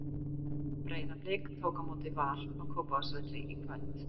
Breiðablik tók á móti Val á Kópavogsvelli í kvöld.